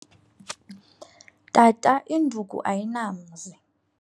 Tata 'induku ayinamzi.'